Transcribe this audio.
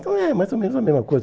Então, é mais ou menos a mesma coisa.